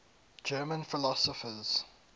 german philosophers